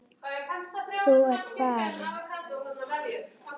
Þú ert farin.